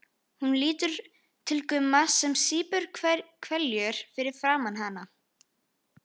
Hún lítur til Gumma sem sýpur hveljur fyrir framan hana.